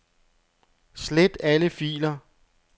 Slet alle filer.